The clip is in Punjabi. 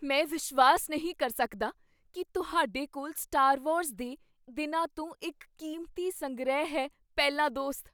ਮੈਂ ਵਿਸ਼ਵਾਸ ਨਹੀਂ ਕਰ ਸਕਦਾ ਕੀ ਤੁਹਾਡੇ ਕੋਲ ਸਟਾਰ ਵਾਰਜ਼ ਦੇ ਦਿਨਾਂ ਤੋਂ ਇੱਕ ਕੀਮਤੀ ਸੰਗ੍ਰਹਿ ਹੈ ਪਹਿਲਾ ਦੋਸਤ